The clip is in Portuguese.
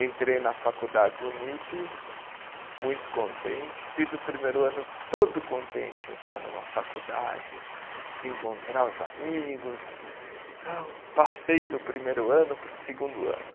Entrei na faculdade Unip, muito contente, fiz o primeiro ano todo contente em estar numa faculdade, de encontrar os amigos tal, passei do primeiro ano para o segundo ano.